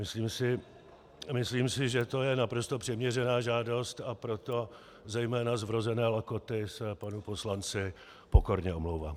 Myslím si, že to je naprosto přiměřená žádost, a proto zejména z vrozené lakoty se panu poslanci pokorně omlouvám.